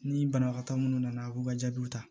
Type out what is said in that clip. Ni banabagatɔ minnu nana a k'u ka jaabiw ta